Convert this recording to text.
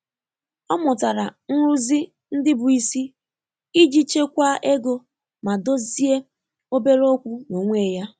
Ọ́ mụ́tàrà nrụ́zị́ ndị́ bụ́ ísí ìjí chèkwáá égo mà dòzìé óbèré ókwú n’ónwé yá.